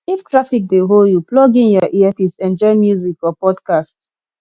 if traffic dey hold you plug in your earpiece enjoy music or podcast